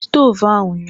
Ị jiri stovu ahụ ụnyahụ?